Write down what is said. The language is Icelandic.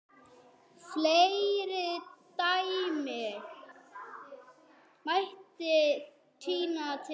Fleiri dæmi mætti tína til.